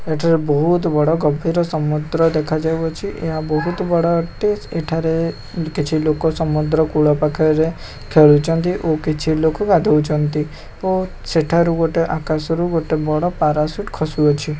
ଏଠାରେ ବୋହୁତ୍ ବଡ଼ ଗଭୀର ସମୁଦ୍ର ଦେଖାଯାଉଅଛି ଏହା ବୋହୁତ୍ ବଡ଼ ଅଟେ ଏଠାରେ କିଛି ଲୋକ ସମୁଦ୍ର କୂଳ ପାଖରେ ଖେଳୁଚନ୍ତି ଓ କିଛି ଲୋକ ଗାଧୋଉଛନ୍ତି ଓ ସେଠାରୁ ଗୋଟେ ଆକାଶରୁ ଗୋଟେ ବଡ଼ ପାରାସୁଟ୍ ଖସୁଅଛି।